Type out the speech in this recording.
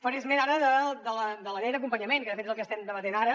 faré esment ara de la llei d’acompanyament que de fet és el que estem debatent ara